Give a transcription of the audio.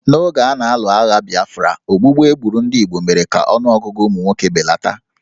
N'oge a na-alụ agha Biafra, ogbugbu e gburu ndị Igbo mere ka ọnụọgụgụ ụmụ nwoke belata